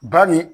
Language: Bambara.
Ba nin